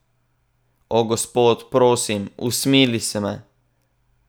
O, Gospod, prosim, usmili se me!